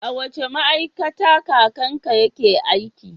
A wace ma'aikata kakanka yake aiki?